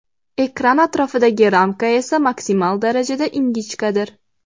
Ekran atrofidagi ramka esa maksimal darajada ingichkadir.